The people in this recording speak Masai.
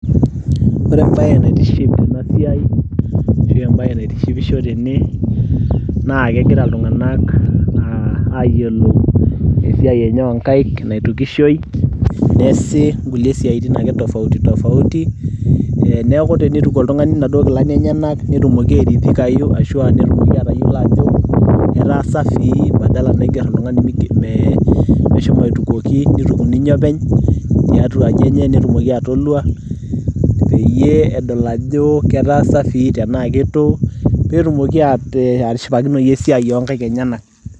ore embaye naitiship tena siai ashu embaye naitishipisho tene naa kegira iltung'anak uh, ayiolou esiai enye onkaik naitukishoi neesi inkulie siaitin ake tofauti tofauti eh, niaku tenituku oltung'ani inaduo kilani enyenak netumoki airidhikayu ashua netumoki atayiolo ajo etaa safi badala naigerr oltung'ani mee meshomo aitukuoki nituku ninye openy tiatua aji enye netumoki atolua peyie edol ajo ketaa safi tenaa ketu peetumoki atishipakinoyu esiai onkaik enyenak.